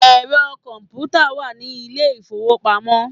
Ẹ̀rọ kọ̀ǹpútà wà ní ilé ìfowópamọ́.